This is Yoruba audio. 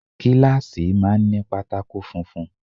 Kíláàsì máa ń ní pátákó funfun.